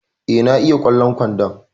Eh, na iya kwallon kwandon